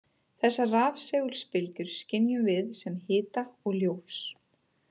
Þessar rafsegulbylgjur skynjum við sem hita og ljós.